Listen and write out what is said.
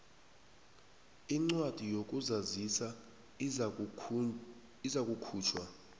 incwadi yokuzazisa izakukhutjhwa